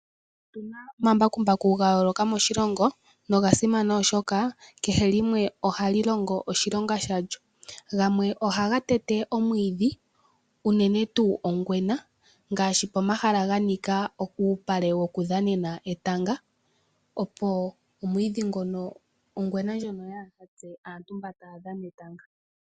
Otuna omambakumbaku gayooloka moshilongo nogasimana oshoka kehe limwe ohali longo oshilonga shalyo, gamwe ohaga tete omwiidhi uunene tu ongwena ngaashi pomahala ganika uupale wokudhanena etanga opo omwiidhi ngono ongwena ndjono yaahatse aantu mba tayadhana etanga.